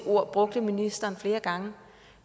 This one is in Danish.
ord brugte ministeren flere gange